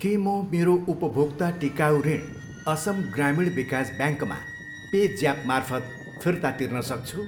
के म मेरो उपभोक्ता टिकाउ ऋण असम ग्रामीण विकास ब्याङ्कमा पे ज्यापमार्फत फिर्ता तिर्न सक्छु?